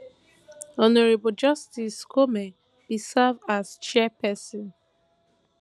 hon justice koome bin serve as chairperson